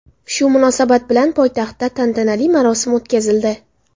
Shu munosabat bilan poytaxtda tantanali marosim o‘tkazildi.